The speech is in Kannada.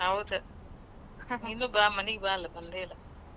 ಹೌದ. ನೀನೂ ಬಾ ಅಲಾ ಮನಿಗೆ ಬಾ ಅಲಾ ಬಂದೇ ಇಲ್ಲಾ.